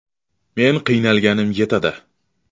Men qiynalganim yetadi.